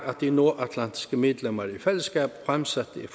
de nordatlantiske medlemmer i fællesskab fremsatte et